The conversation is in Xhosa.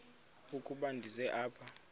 ukuba ndize apha